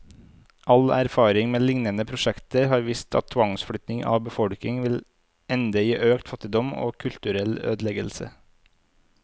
All erfaring med lignende prosjekter har vist at tvangsflytting av befolkningen vil ende i økt fattigdom, og kulturell ødeleggelse.